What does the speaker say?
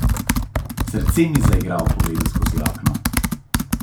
Srce mi zaigra ob pogledu skozi okno.